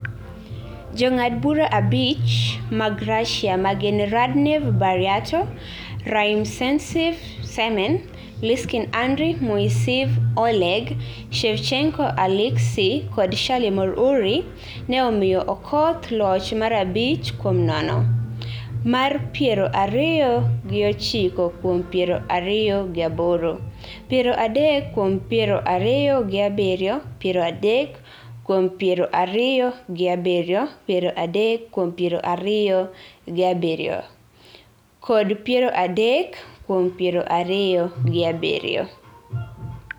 Jong'ad bura abich mag Russia ma gin Radnaev Baryato, Rymyacencev Semen, Liskyn Andrey, Moiseev Oleg, Shevchenko Aleksey kod Shalimov Uriy ne omiyo Okoth loch mar abich kuom nono, mar piero ariyo gi ochiko kuom piero ariyo gi aboro, piero adek kuom piero ariyo gi abiriyo, piero adek kuom piero ariyo gi abiriyo, piero adek kuom piero ariyo gi abiriyo, kod piero adek kuom piero ariyo gi abiriyo.